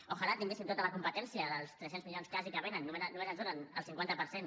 tant de bo tinguéssim tota la competència dels tres cents milions quasi que vénen només ens en donen el cinquanta per cent